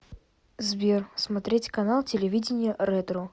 сбер смотреть канал телевидения ретро